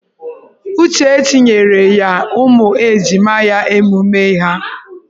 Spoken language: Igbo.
Uchechi nyere ya ụmụ ejima ya emume ha.